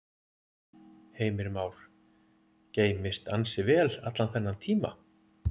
Heimir Már: Geymst ansi vel allan þennan tíma?